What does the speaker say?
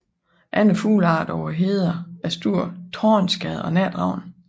Andre fuglearter på hederne er stor tornskade og natravn